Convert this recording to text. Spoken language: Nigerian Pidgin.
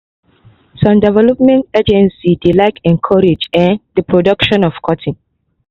some development agencies dey like encourage um d production of cotton.